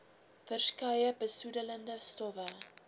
verskeie besoedelende stowwe